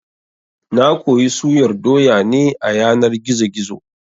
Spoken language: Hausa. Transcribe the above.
Na koyi suyar doya ne a yanar gizo-gizo